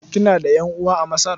Kina da ƴan'uwa a Masar?